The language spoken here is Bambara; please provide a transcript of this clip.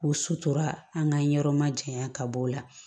O sutura an ka ɲɛyɔrɔ ma janya ka bɔ o la